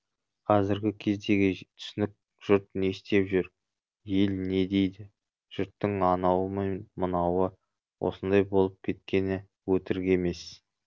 қазіргі кездегі түсінік жұрт не істеп жүр ел не дейді жұрттың анауы мен мынауы осындай болып кеткені өтірік емес